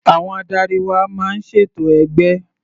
Àwọn adarí wa máa ń ṣètò ẹgbẹ́